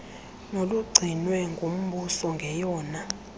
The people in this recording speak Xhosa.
nolugcinwe ngumbuso ngeyona